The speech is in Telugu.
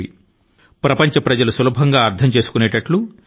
ఈ శక్తి ని పెంచే పదార్థాలు మన దేశం తో ముడిపడి ఉన్నాయి